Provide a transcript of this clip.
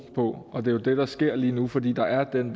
på og det er jo det der sker lige nu fordi der er den